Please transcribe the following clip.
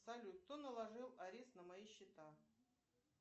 салют кто наложил арест на мои счета